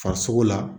Farisogo la